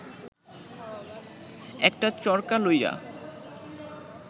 একটা চরকা লইয়া